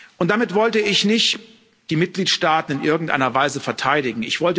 Und damit wollte ich nicht die Mitgliedstaaten in irgendeiner Weise verteidigen.